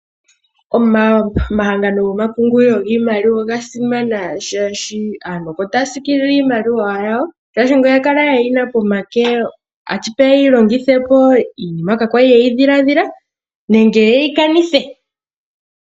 Omahangano gomapungulilo giimaliwa oga simana shaashi, asntu opo ta ya siikilile iimaliwa yawo, shaashi ngele oya kala ye yina pomake, ashipeya ye yi longithepo iinima kaa kwa li ye yi dhiladhila nenge ye yi kanithe.